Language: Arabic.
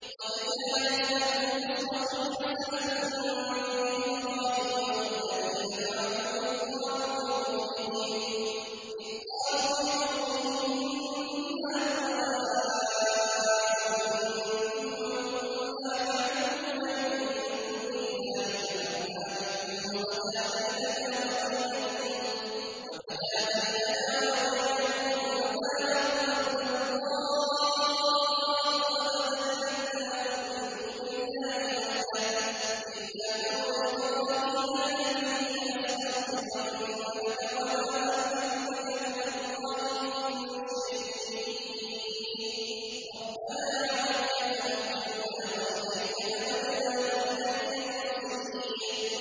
قَدْ كَانَتْ لَكُمْ أُسْوَةٌ حَسَنَةٌ فِي إِبْرَاهِيمَ وَالَّذِينَ مَعَهُ إِذْ قَالُوا لِقَوْمِهِمْ إِنَّا بُرَآءُ مِنكُمْ وَمِمَّا تَعْبُدُونَ مِن دُونِ اللَّهِ كَفَرْنَا بِكُمْ وَبَدَا بَيْنَنَا وَبَيْنَكُمُ الْعَدَاوَةُ وَالْبَغْضَاءُ أَبَدًا حَتَّىٰ تُؤْمِنُوا بِاللَّهِ وَحْدَهُ إِلَّا قَوْلَ إِبْرَاهِيمَ لِأَبِيهِ لَأَسْتَغْفِرَنَّ لَكَ وَمَا أَمْلِكُ لَكَ مِنَ اللَّهِ مِن شَيْءٍ ۖ رَّبَّنَا عَلَيْكَ تَوَكَّلْنَا وَإِلَيْكَ أَنَبْنَا وَإِلَيْكَ الْمَصِيرُ